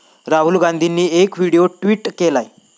राहुल गांधींनी एक video tweet केलाय.